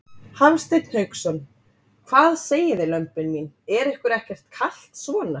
Hafsteinn Hauksson: Hvað segið þið lömbin mín, er ykkur ekkert kalt svona?